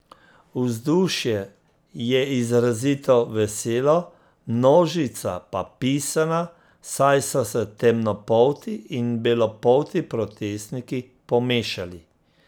Vzdušje je izrazito veselo, množica pa pisana, saj so se temnopolti in belopolti protestniki pomešali.